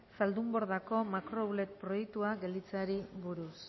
zaldunbordako makrooutlet proiektua gelditzeari buruz